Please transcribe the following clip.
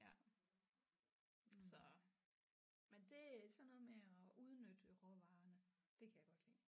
Ja så men det sådan noget med at udnytte råvarerne det kan jeg godt lide